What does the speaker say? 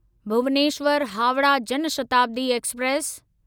Bhubaneswar Howrah Jan Shatabdi express